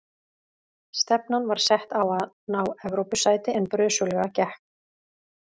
Stefnan var sett á að ná Evrópusæti en brösuglega gekk.